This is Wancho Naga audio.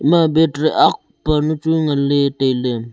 ema battery aakh panu chu ngan ley tai ley.